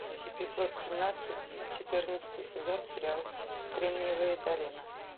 эпизод семнадцать четырнадцатый сезон сериала кремниевая долина